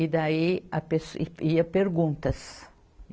E daí a pessoa, e ia perguntas.